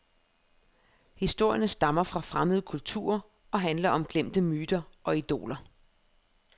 Historierne stammer fra fremmede kulturer og handler om glemte myter og idoler.